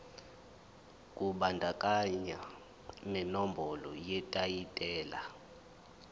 kubandakanya nenombolo yetayitela